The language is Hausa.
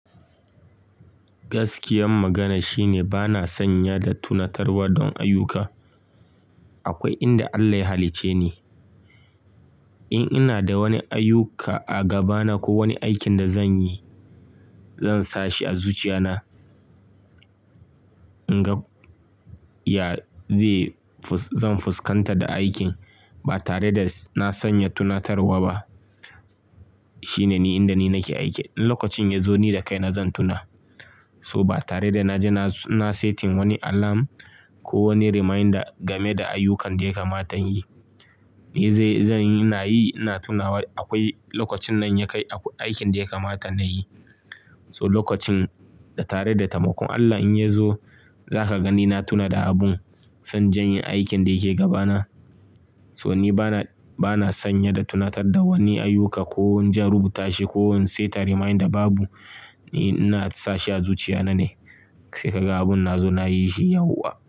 Gaskiyan magana shine bana sanya da tunatarwa don ayyuka. Akwai inda Allah ya halicce ni. In ina da wani ayyuka a gabana ko wani aikin da zan yi, zan sa shi a zuciya na. In ga ya zan fuskantar da aikin ba tare da na sanya tunatarwa ba. Shine ni inda ni nake aiki. In lokacin ya zo ni da kaina zan tuna. So ba tare da na je na setting wani alarm ko wani reminder game da ayyukan da ya kamata yin, ni zai-- zan yi, na yi, na tuna. Akwai lokacin nan ya kai aikin da ya kamata nayi. So lokacin da tare da tamakon Allah in ya zo, za ka gani na tuna da abun. Zan jan aikin da yake gabana. So ni bana, bana sanye da tunatar da wani ayyuka ko inje in rubuta shi ko in setta reminder babu. Ni ina sa shi a zuciya na ne. Sai ka ga abun na zo nayi shi yauwa.